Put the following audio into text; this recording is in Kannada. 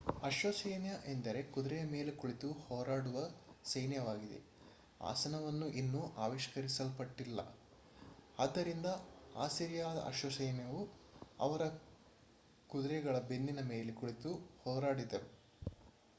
ಅಶ್ವಸೈನ್ಯ ಎಂದರೆ ಕುದುರೆಯ ಮೇಲೆ ಕುಳಿತು ಹೋರಾಡುವ ಸೈನ್ಯವಾಗಿದೆ ಆಸನವನ್ನು ಇನ್ನೂ ಆವಿಷ್ಕರಿಸಲ್ಪಟ್ಟಿಲ್ಲ ಆದ್ದರಿಂದ ಅಸಿರಿಯಾದ ಅಶ್ವಸೈನ್ಯವು ಅವರ ಕುದುರೆಗಳ ಬೆನ್ನಿನ ಮೇಲೆ ಕುಳಿತು ಹೋರಾಡಿದರು